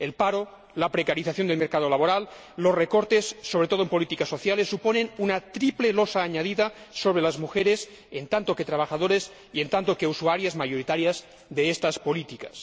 El paro, la precarización del mercado laboral, los recortes, sobre todo en políticas sociales, suponen una triple losa añadida sobre las mujeres como trabajadoras y como usuarias mayoritarias de estas políticas.